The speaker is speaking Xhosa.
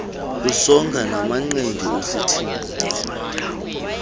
usonga namanqindi usithini